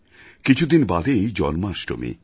কিছুদিন বাদেই জন্মাষ্টমী